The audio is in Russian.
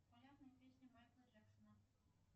понятные песни майкла джексона